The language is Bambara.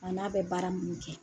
A n'a bɛ baara minnu kɛ.